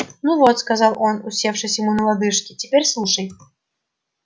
ну вот сказал он усевшись ему на лодыжки теперь слушай